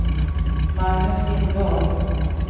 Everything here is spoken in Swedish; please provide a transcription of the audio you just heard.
Magnus Lindahl